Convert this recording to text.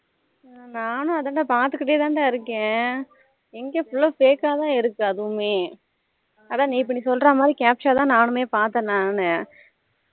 ஹம் நானும் அதான் டா பாத்துகிட்டே தான் டா இருக்கேன் எங்க full ஆ fake ஆ தான் இருக்கு அதுவுமே அதான் நேத்து நீ சொல்லுற மாதிரி captcha ஆ தான் நானுமே பாத்தேன் நானு